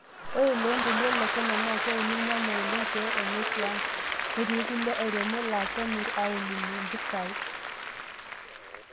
Ore toloontoluo Le kenya naa keuni irnyanya oleng pee enyae tiaang' netii kulie airemok laa kemirr aaolunye mpisaai.